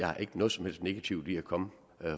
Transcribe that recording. er ikke noget som helst negativt i at komme